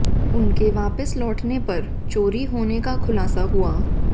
उनके वापस लौटने पर चोरी होने का खुलासा हुआ